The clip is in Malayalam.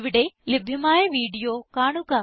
ഇവിടെ ലഭ്യമായ വീഡിയോ കാണുക